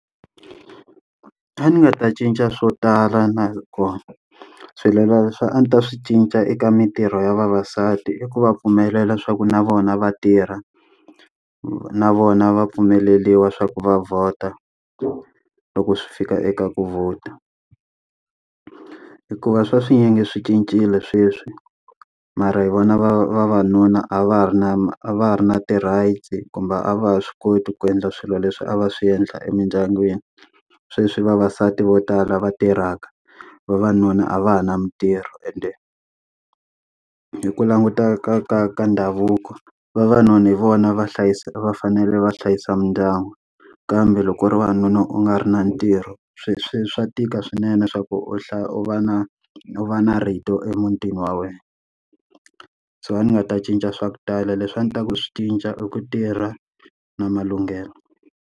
A ni nga ta cinca swo tala na kona. a ni ta swi cinca eka mitirho ya vavasati i ku va pfumelela swa ku na vona va tirha, na vona va pfumeleriwa swa ku va vhota loko swi fika eka ku vhota. Hikuva swa swinyingi swi cincile sweswi mara hi vona va vavanuna a va ha ri na ma a va ha ri na ti rights kumbe a va ha swi koti ku endla swilo leswi a va swi endla emindyangwini. Sweswi i vavasati vo tala va tirhaka vavanuna a va ha na mitirho ende. Hi ku langutaka ka ka ka ndhavuko vavanuna hi vona va hlayisa va fanele va hlayisa mindyangu kambe loko u ri wanuna u nga ri na ntirho swilo swa swa tika swinene swa ku u u va na u va na rito emutini wa wena. So ni nga ta cinca swa ku tala leswi a ni ta ku swi cinca i ku tirha na malunghelo.